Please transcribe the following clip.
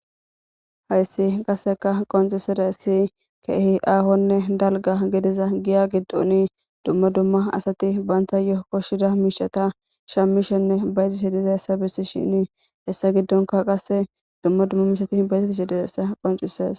Haysi qaseka qonc'isizaysi kehi ahone dalga gidiza giya gidoni duma duma asati bantayo koshida mishata shamishene bayzishe dizaysa besishen hesa gidonika qase duma duma mishati bayzetishe dizaysa qonc'ses.